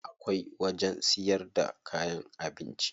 Akwai wajen siyar da kayan abinci.